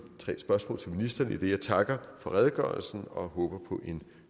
tre spørgsmål til ministeren idet jeg takker for redegørelsen og håber på en